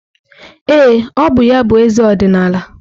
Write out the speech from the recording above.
Ee, ọ bụ ya bụ eze ọdịnala.